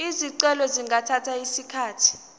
izicelo zingathatha isikhathi